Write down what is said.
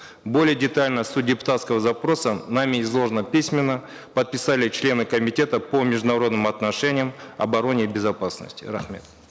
более детально суть депутатского запроса нами изложена письменно подписали члены комитета по международным отношениям обороне и безопасности рахмет